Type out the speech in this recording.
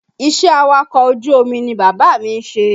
Iṣẹ́ awakọ̀ ojú omi ni bàbá mi ń ṣe